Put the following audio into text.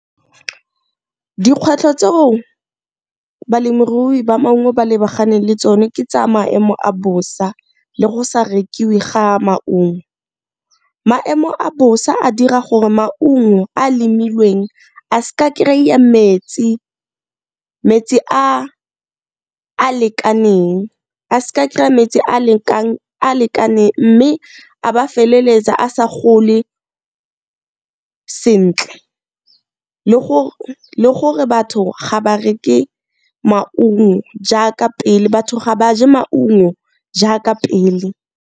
Dikgwetlho tseo balemirui ba maungo ba lebaganeng le tsone ke tsa maemo a bosa le go sa rekiwe ga maungo. Maemo a bosa a dira gore maungo a lemilweng a s'ka kry-a metsi, metsi a a lekaneng a s'ka kry-a metsi a lekaneng mme a ba a feleletsa a sa gole sentle le gore batho ga ba reke maungo jaaka pele batho ga ba je maungo jaaka pele.